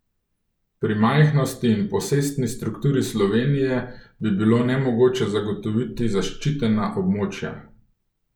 Pri majhnosti in posestni strukturi Slovenije bi bilo nemogoče zagotoviti zaščitena območja.